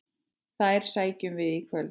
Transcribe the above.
Þær sækjum við í kvöld.